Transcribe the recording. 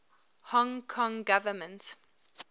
hong kong government